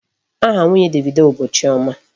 Aha nwunye Davido bụ Chioma.